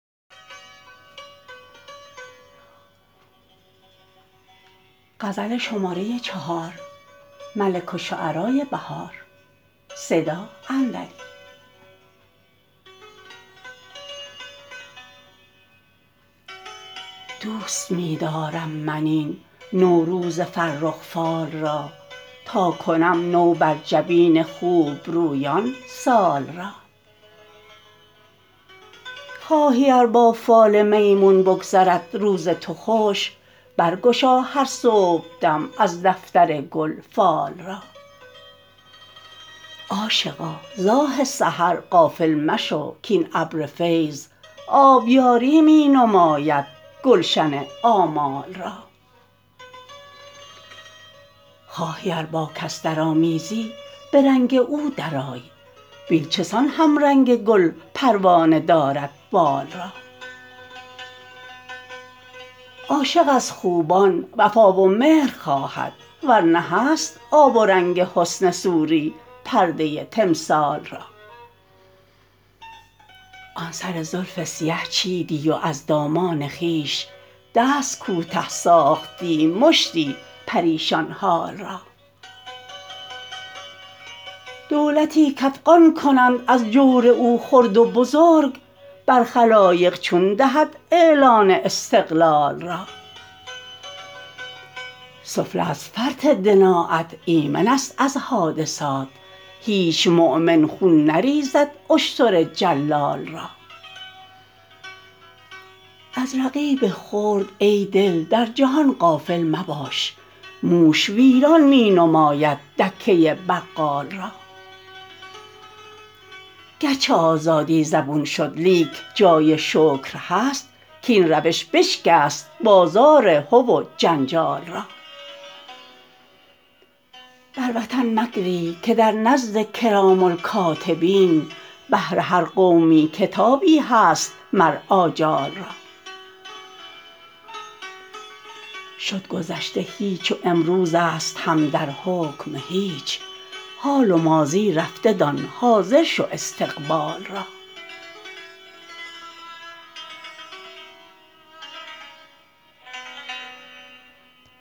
دوست می دارم من این نوروز فرخ فال را تاکنم نو بر جبین خوبرویان سال را خواهی ار با فال میمون بگذرد روز تو خوش برگشا هر صبحدم از دفترگل فال را عاشقا ز آه سحر غافل مشو کاین ابر فیض آبیاری می نمایدگلشن آمال را خواهی ار با کس درآمیزی به رنگ او درآی بین چسان همرنگ گل پروانه دارد بال را عاشق از خوبان وفا و مهر خواهد ورنه هست آب و رنگ حسن صوری پرده تمثال را آن سر زلف سیه چیدی و از دامان خویش دست کوته ساختی مشتی پریشان حال را دولتی کافغان کنند از جور او خرد و بزرگ بر خلایق چون دهد اعلان استقلال را سفله از فرط دنایت ایمن است از حادثات هیچ مؤمن خون نریزد اشتر جلال را از رقیب خرد ای دل در جهان غافل مباش موش ویران می نماید دکه بقال را گرچه آزادی زبون شد لیک جای شکر هست کاین روش بشکست بازار هو و جنجال را بر وطن مگری که در نزدکرام الکاتبین بهر هر قومی کتابی هست مر آجال را شدگذشته هیچ و امروز است هم در حکم هیچ حال و ماضی رفته دان حاضر شو استقبال را